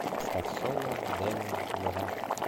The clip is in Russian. поставь соло дэми ловато